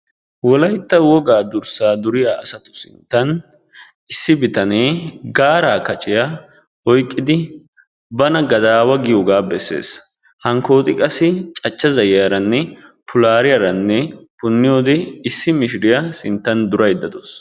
Wolaytta wogaa dursaa duriya asatu sinttan issi bitanee Gaara kacciya oyiqqidi bana gadaawa giyogaa bessees hankkooti qassi cachcha zayyiyaaranne pulaaliyaranne punniyoode issi mishiriya sinttan durayidda dawus